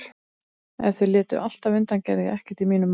Ef þau létu alltaf undan gerði ég ekkert í mínum málum.